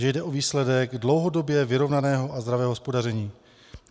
Že jde o výsledek dlouhodobě vyrovnaného a zdravého hospodaření.